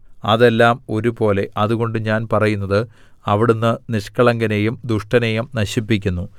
അതെല്ലാം ഒരുപോലെ അതുകൊണ്ട് ഞാൻ പറയുന്നത് അവിടുന്ന് നിഷ്കളങ്കനെയും ദുഷ്ടനെയും നശിപ്പിക്കുന്നു